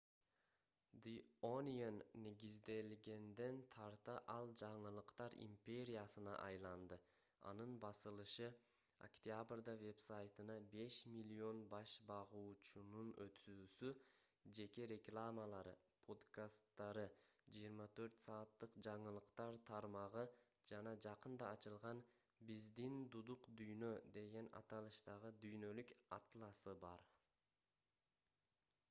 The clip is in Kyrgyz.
the onion негизделгенден тарта ал жаңылыктар империясына айланды анын басылышы октябрда вебсайтына 5 000 000 баш багуучунун өтүүсү жеке рекламалары подкасттары 24 сааттык жаңылыктар тармагы жана жакында ачылган биздин дудук дүйнө деген аталыштагы дүйнөлүк атласы бар